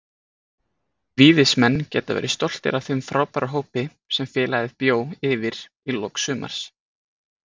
Víðismenn geta verið stoltir af þeim frábæra hópi sem félagið bjó yfir í lok sumars.